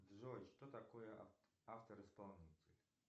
джой что такое автор исполнитель